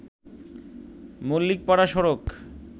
মল্লিকপাড়া সড়ক